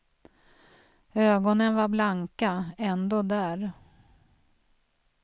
Ögonen var blanka, ändå där.